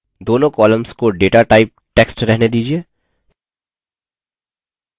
दोनों columns को data type text रहने दीजिये